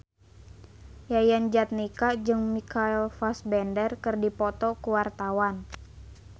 Yayan Jatnika jeung Michael Fassbender keur dipoto ku wartawan